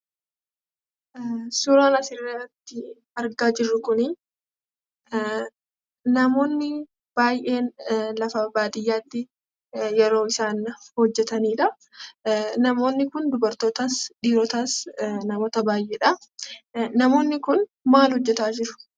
Suuraan asirratti argaa jirru kuni namoonni baay'een lafa baadiyyaatti yeroo isaan hojjeetanidha. Namoonni kun dubartootas, dhirootas, namoota baay'eedha. Namoonni kun maal hojjetaa jiru?